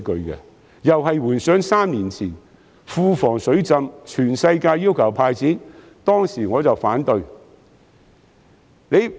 同樣是回想3年前庫房"水浸"，當時全世界要求"派錢"，但我卻反對。